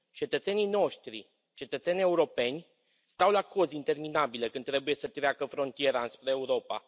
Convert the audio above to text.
Cetățenii noștri, cetățeni europeni, stau la cozi interminabile când trebuie să treacă frontiera înspre Europa.